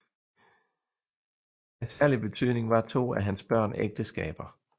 Af særlig betydning var to af hans børn ægteskaber